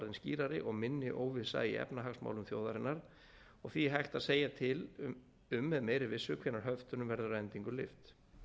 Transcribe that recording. skýrari og minni óvissa í efnahagsmálum þjóðarinnar og því hægt að segja til um með meiri vissu hvenær höftunum verður að endingu lyft